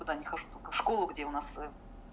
туда не хожу только в школу где у нас